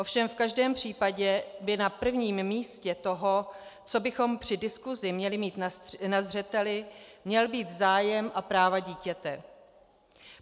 Ovšem v každém případě by na prvním místě toho, co bychom při diskusi měli mít na zřeteli, měl být zájem a práva dítěte.